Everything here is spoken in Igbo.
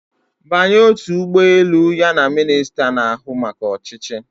Banye otu ụgbọ elu ya na minista na-ahụ maka ọchịchị